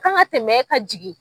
Kan kan tɛmɛ e ka jigin.